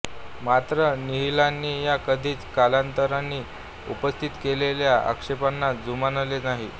मात्र निहलानी यांनी कधीच कलाकारांनी उपस्थित केलेल्या आक्षेपांना जुमानले नाही